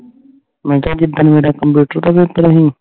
ਮੈਂ ਕਿਹਾ ਜਿਦਣ ਮੇਰਾ computer ਦਾ paper ਸੀ